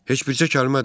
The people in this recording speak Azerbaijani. Heç bircə kəlmə də?